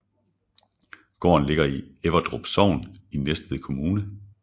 Gården ligger i Everdrup Sogn i Næstved Kommune